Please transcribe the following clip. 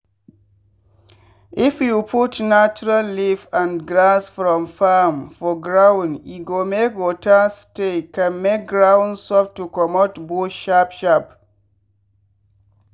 if you put natural leaf and grass from farm for ground e go make water stay con make ground soft to comot bush sharp sharp.